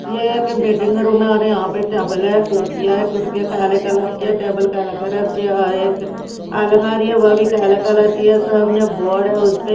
यह एक waiting room है और यहां पे टेबल है कुर्सी है कुर्सीयां काले कलर की है टेबल काला कलर के और एक अलमारी है ओ भी काला कलर की सामने एक बोर्ड है उसपे --